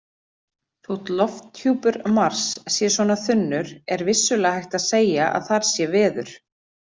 Þótt lofthjúpur Mars sé svona þunnur er vissulega hægt að segja að þar sé veður.